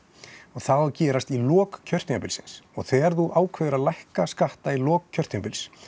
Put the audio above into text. það á að gerast í lok kjörtímabilsins og þegar þú ákveður að lækka skatta í lok kjörtímabils